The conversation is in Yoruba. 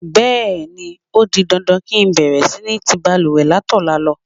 Bé̩è̩ni, ó di dandan kí ń bè̩rè̩ sí ni ti balùwè̩ látò̩la lo̩.